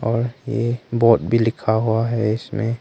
और ये बोर्ड भी लिखा हुआ है इसमें--